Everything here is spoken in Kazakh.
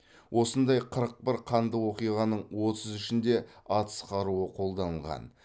осындай қырық бір қанды оқиғаның отыз үшінде атыс қаруы қолданылған